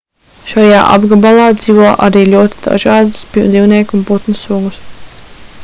šajā apgabalā dzīvo arī ļoti dažādas dzīvnieku un putnu sugas